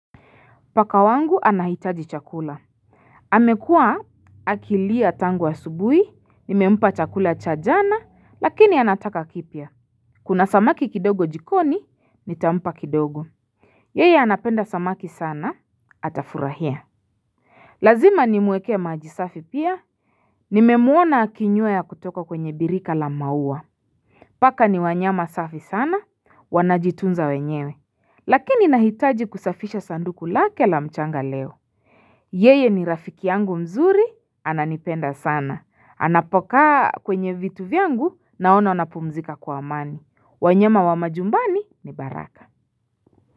Paka wangu anahitaji chakula. Hamekuwa akilia tangu asubui, nimempa chakula cha jana, lakini anataka kipya. Kuna samaki kidogo jikoni, nitampakidogo. Yeye anapenda samaki sana, atafurahia. Lazima nimwekee majisafi pia, nimemuona akinywea kutoka kwenye birika la maua. Paka ni wanyama safi sana, wanajitunza wenyewe. Lakini nahitaji kusafisha sanduku lake la mchanga leo. Yeye ni rafiki yangu mzuri, ananipenda sana. Anapokaa kwenye vitu vyangu naona wanapumzika kwa amani. Wanyama wa majumbani ni baraka.